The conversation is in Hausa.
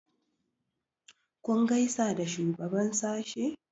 kun gaisa da shugaban sashe?